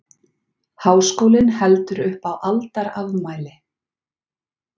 Háskólinn heldur upp á aldarafmæli